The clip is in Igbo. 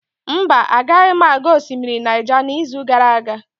Mba, agaghị aga osimiri Naija n'izu gara aga.